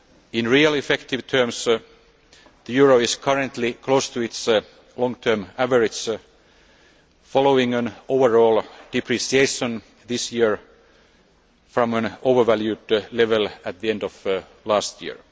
In real effective terms, the euro is currently close to its long term average following an overall depreciation this year from an overvalued level at the end of last year.